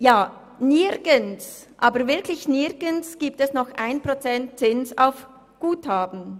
Nirgendwo gibt es noch 1 Prozent Zins auf Guthaben!